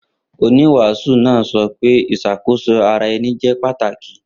Oniwaasu naa sọ pe iṣakoso ara ẹni jẹ pataki